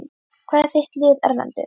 Hvað er þitt lið erlendis?